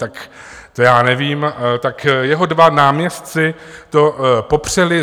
Tak to já nevím, tak jeho dva náměstci to popřeli.